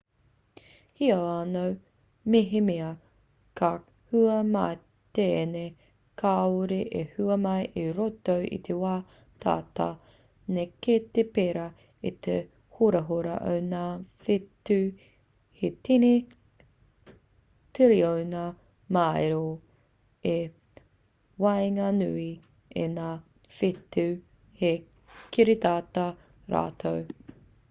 heoi anō mehemea ka hua mai tēnei kāore e hua mai i roto i te wā tata nei kei te pērā te horahora o ngā whetū he tini tiriona māero i waenganui i ngā whetū he kiritata rātou